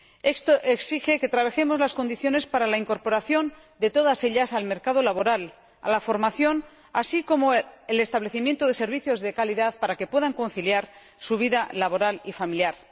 Esto exige la mejora de las condiciones para la incorporación de todas ellas al mercado laboral y a la formación, así como el establecimiento de servicios de calidad para que puedan conciliar su vida laboral y familiar.